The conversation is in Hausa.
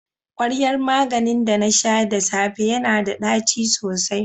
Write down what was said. kwaryan maganin da na sha da safe yana da ɗaci sosai.